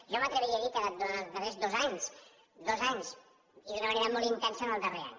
jo m’atreviria a dir ho durant els darrers dos anys dos anys i d’una manera molt intensa en el darrer any